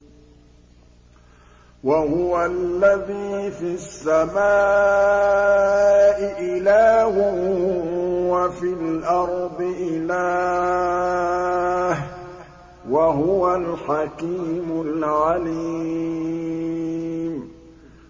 وَهُوَ الَّذِي فِي السَّمَاءِ إِلَٰهٌ وَفِي الْأَرْضِ إِلَٰهٌ ۚ وَهُوَ الْحَكِيمُ الْعَلِيمُ